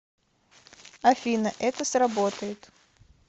афина это сработает